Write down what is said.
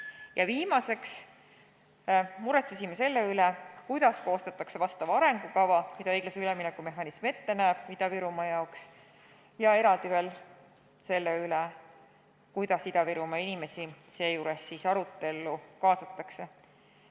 Ja viimaseks muretsesime selle üle, kuidas koostatakse arengukava, mida õiglase ülemineku mehhanism näeb ette Ida-Virumaa jaoks, ja kuidas Ida-Virumaa inimesi seejuures arutellu kaasatakse.